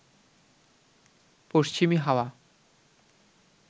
পশ্চিমী হাওয়া